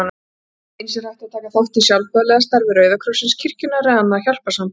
Eins er hægt að taka þátt í sjálfboðaliðastarfi Rauða krossins, kirkjunnar eða annarra hjálparsamtaka.